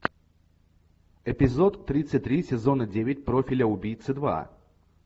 эпизод тридцать три сезона девять профиля убийцы два